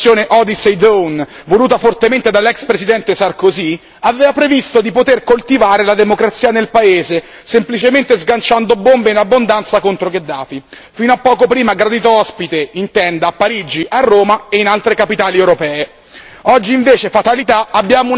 L'acuta strategia dell'operazione Odyssey Dawn, voluta fortemente dall'ex presidente Sarkozy, aveva previsto di poter coltivare la democrazia nel paese semplicemente sganciando bombe in abbondanza contro Gheddafi, fino a poco prima gradito ospite in tenda a Parigi, a Roma e in altre capitali europee.